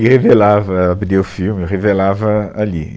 E revelava, abria o filme eu revelava ali.